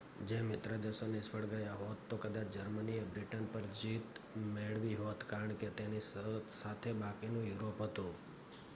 જો મિત્રદેશો નિષ્ફળ ગયા હોત તો કદાચ જર્મનીએ બ્રિટન પર જીત મેળવી હોત કારણ કે તેની સાથે બાકીનું યુરોપ હતું